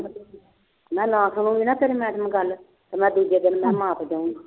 ਮੈਂ ਨਾ ਕਰੂੰਗੀ ਨਾ ਤੇਰੀ madam ਗੱਲ ਤੇ ਮੈਂ ਦੂਜੇ ਦਿਨ ਮੈਂ ਉਹਨੂੰ ਆਖ ਦਿਆਂਗੀ